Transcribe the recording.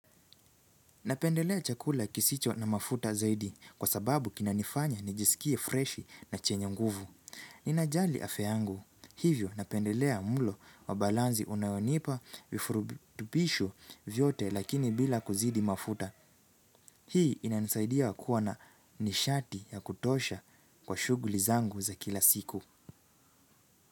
Napendelea chakula kisicho na mafuta zaidi kwa sababu kinanifanya nijisikie freshi na chenye nguvu. Ninajali afya yangu. Hivyo napendelea mlo wa balanzi unayonipa vifurubi tupishu vyote lakini bila kuzidi mafuta. Hii inanisaidia kua na nishati ya kutosha kwa shughuli zangu za kila siku.